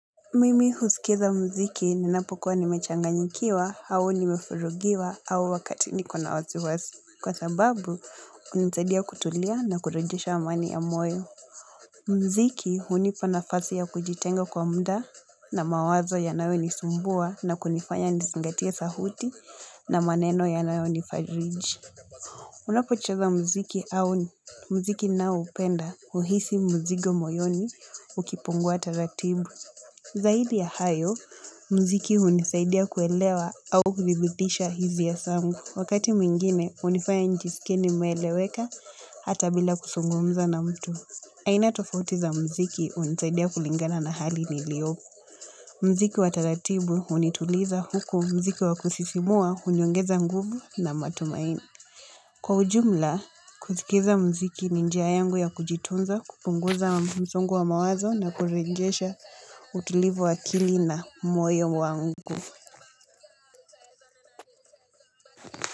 Mimi husikiza mziki ninapokuwa nimechanganyikiwa au nimefurugiwa au wakati nikona wasiwasi kwa sababu unisadia kutulia na kurejesha amani ya moyo. Mziki hunipa na fasi ya kujitenga kwa mda na mawazo yanawenisumbua na kunifanya nisingatia sahuti na maneno ya nawe nifariji. Unapo cheza mziki au mziki na upenda uhisi mzigo moyoni ukipungua taratibu. Zaidi ya hayo, mziki unisaidia kuelewa au kudhibitisha hizi ya sangu. Wakati mwingine, unifaya njisikie nimeweleweka hata bila kusungumza na mtu. Aina tofauti za mziki unisaidia kulingana na hali niliopo. Mziki wataratibu unituliza huku mziki wakusisimua, uniyongeza nguvu na matumaini. Kwa ujumla kusikiza mziki minjia yangu ya kujitunza kupunguza msongo wa mawazo na kurejesha utulivu wakili na moyo wangu.